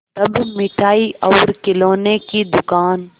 तब मिठाई और खिलौने की दुकान